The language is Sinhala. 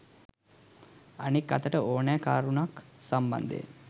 අනෙක් අතට ඕනෑම කරුණක් සම්බන්ධයෙන්